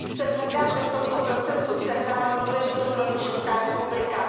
Jsme hrdá, že v tomto procesu sehrála důležitou roli Česká republika.